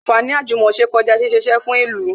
Anfaani àjùmòse kọjá ṣíṣe isẹ fún ìlú